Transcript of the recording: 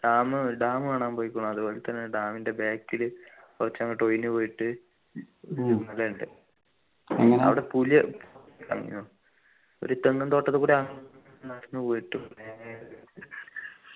dam dam കാണാൻ പോയി അതുപോലെതന്നെ dam ൻ്റെ back ലി കുറച്ചങ്ങോട്ട് ഒഴിഞ്ഞു പോയിട്ട് മലയുണ്ട് അവിടെ പുലി ഇറങ്ങു ഒരു തെങ്ങും തൊട്ടത്തു കൂടി അങ് നടന്നു പോയിട്ട് നേരെ